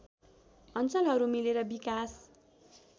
अञ्चलहरू मिलेर विकास